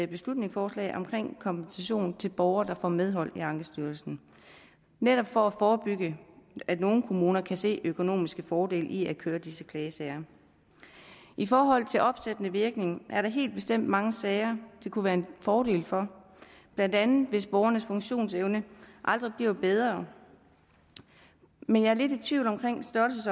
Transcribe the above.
beslutningsforslag om kompensation til borgere der får medhold i ankestyrelsen netop for at forebygge at nogle kommuner kan se økonomiske fordele i at køre disse klagesager i forhold til opsættende virkning er der helt bestemt mange sager det kunne være en fordel for blandt andet hvis borgernes funktionsevne aldrig bliver bedre men jeg er lidt i tvivl